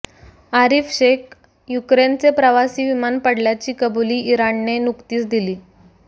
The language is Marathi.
आरिफ शेख युक्रेनचे प्रवासी विमान पडल्याची कबुली इराणने नुकतीच दिली